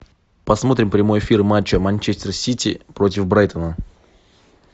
посмотрим прямой эфир матча манчестер сити против брайтона